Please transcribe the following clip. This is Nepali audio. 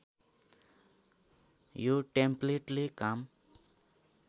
यो टेम्प्लेटले काम